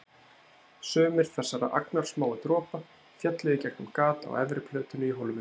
Sumir þessara agnarsmáu dropa féllu í gegnum gat á efri plötunni í hólfinu.